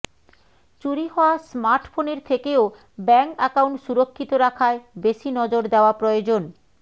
চুরি হওয়া স্মার্টফোনের থেকেও ব্যাঙ্ক অ্যাকাউন্ট সুরক্ষিত রাখায় বেশি নজর দেওয়া প্রয়োজন